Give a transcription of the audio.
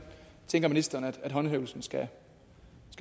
tænker ministeren håndhævelsen skal